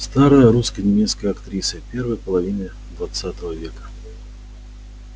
старая русско-немецкая актриса первой половины двадцатого века